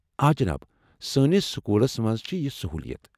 آ، جناب، سٲنس سکولس منٛز چھےٚ یہ سہوُلِیتھ ۔